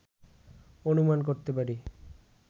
অনুমান করতে পারি